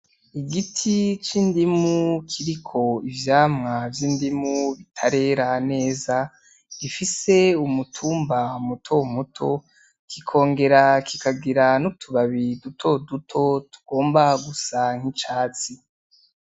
Igiti c'indimu kiriko ivyamwa vy'indimu bitarera neza, gifise umutumba muto muto kikongera kikagira n'utubabi duto duto tugomba gusa nk'icatsi.